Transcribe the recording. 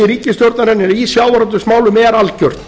ríkisstjórnarinnar í sjávarútvegsmálum er algjört